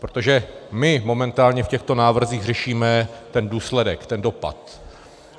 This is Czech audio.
Protože my momentálně v těchto návrzích řešíme ten důsledek, ten dopad.